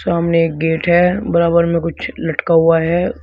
सामने एक गेट है बराबर में कुछ लटका हुआ है।